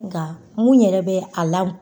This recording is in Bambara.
Nka mun yɛrɛ bɛ a la